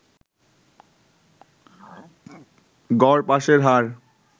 গড় পাসের হার